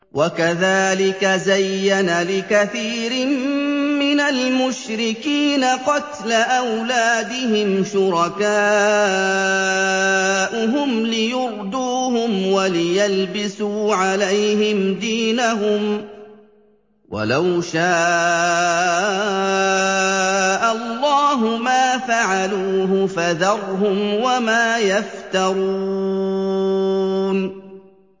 وَكَذَٰلِكَ زَيَّنَ لِكَثِيرٍ مِّنَ الْمُشْرِكِينَ قَتْلَ أَوْلَادِهِمْ شُرَكَاؤُهُمْ لِيُرْدُوهُمْ وَلِيَلْبِسُوا عَلَيْهِمْ دِينَهُمْ ۖ وَلَوْ شَاءَ اللَّهُ مَا فَعَلُوهُ ۖ فَذَرْهُمْ وَمَا يَفْتَرُونَ